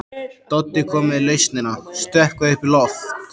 Doddi kom með lausnina: stökkva upp í loft.